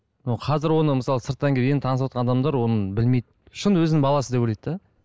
мынау қазір оны мысалы сырттан келген танысыватқан адамдар оны білмейді шын өзінің баласы деп ойлайды да